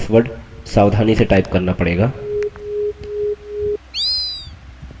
अतः password सावधानी से type करना पड़ेगा